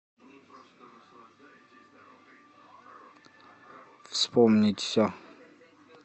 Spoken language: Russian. вспомнить все